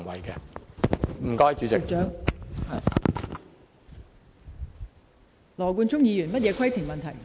羅冠聰議員，你有甚麼規程問題？